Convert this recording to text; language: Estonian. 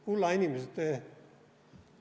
Kulla inimesed!